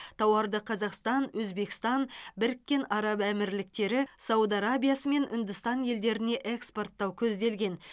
тауарды қазақстан өзбекстан біріккен араб әмірліктері сауд арабиясы мен үндістан елдеріне экспорттау көзделген